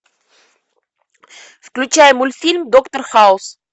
включай мультфильм доктор хаус